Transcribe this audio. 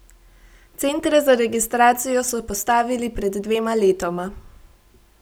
Centre za registracijo so postavili pred dvema letoma.